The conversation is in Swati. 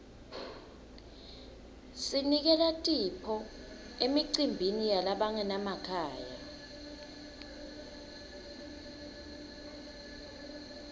sinikela tipho emicimbini yalabangenamakhaya